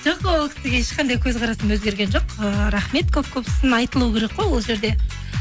жоқ ол кісіге ешқандай көзқарасым өзгерген жоқ ііі рахмет көп көп сын айтылу керек қой ол жерде